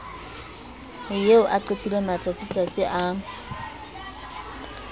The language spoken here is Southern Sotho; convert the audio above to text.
eo a qetileng matsatsitsatsi a